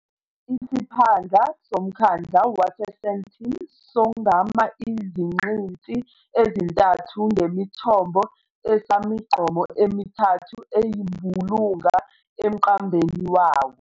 Isiphandla somkhandlu wase-Sandton songama iziqinti ezintathu ngemithombo esamigqomo emithathu eyimbulunga emqambeni wawo.